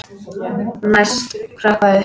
Læst hrökkva upp.